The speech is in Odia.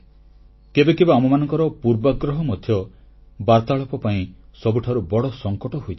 କେବେକେବେ ଆମମାନଙ୍କର ପୂର୍ବାଗ୍ରହ ମଧ୍ୟ ବାର୍ତ୍ତାଳାପ ପାଇଁ ସବୁଠାରୁ ବଡ଼ ସଂକଟ ହୋଇଯାଏ